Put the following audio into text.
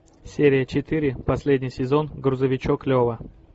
серия четыре последний сезон грузовичок лева